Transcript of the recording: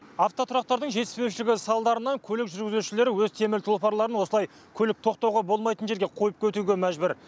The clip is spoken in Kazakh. автотұрақтардың жетіспеушілігі салдарынан көлік жүргізушілері өз темір тұлпарларын осылай көлік тоқтауға болмайтын жерге қойып кетуге мәжбүр